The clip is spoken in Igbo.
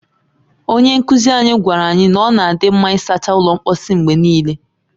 Onye nkuzi anyị gwaara anyị na ọ na adị mma ịsacha ụlọ mposi mgbe niile